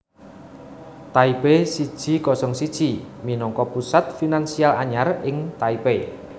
Taipei siji kosong siji minangka pusat finansial anyar ing Taipei